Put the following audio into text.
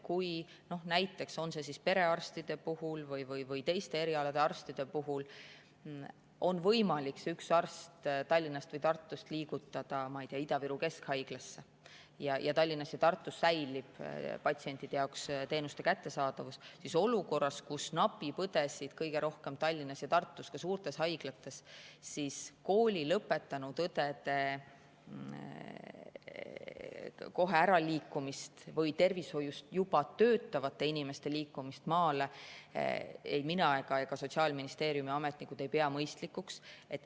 Kui näiteks perearstide puhul või teiste erialade arstide puhul on võimalik üks arst Tallinnast või Tartust liigutada Ida-Viru Keskhaiglasse ning Tallinnas ja Tartus säilib patsientide jaoks teenuste kättesaadavus, siis olukorras, kus õdesid napib kõige rohkem Tallinna ja Tartu suurtes haiglates, ei pea kooli lõpetanud õdede kohe maale minemist või tervishoius juba töötavate inimeste liikumist maale ei mina ega ka Sotsiaalministeeriumi ametnikud mõistlikuks.